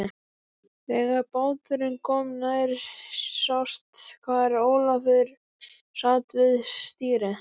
Þegar báturinn kom nær sást hvar Ólafur sat við stýrið.